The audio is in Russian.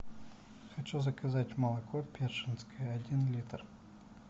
хочу заказать молоко першинское один литр